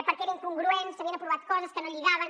perquè era incongruent s’havien aprovat coses que no lligaven